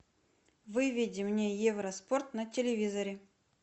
выведи мне евроспорт на телевизоре